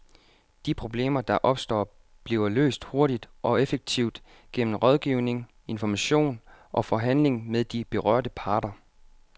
De problemer, der opstår, bliver løst hurtigt og effektivt gennem rådgivning, information og forhandling med de berørte parter.